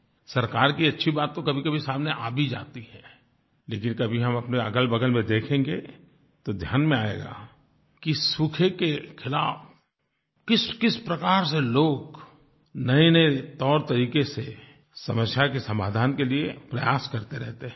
सरकार की अच्छी बात तो कभीकभी सामने आ भी जाती है लेकिन कभी हम अपने अगलबगल में देखेंगे तो ध्यान में आएगा कि सूखे के खिलाफ़ किसकिस प्रकार से लोग नयेनये तौरतरीके से समस्या के समाधान के लिए प्रयास करते रहते हैं